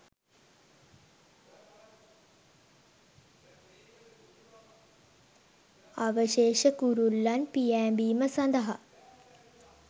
අවශේෂ කුරුල්ලන් පියෑඹීම සඳහා